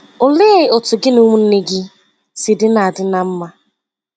Olee otú gị na ụmụnne gị si dị ná dị ná mma?